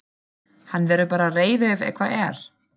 Hann verður bara reiður ef eitthvað er.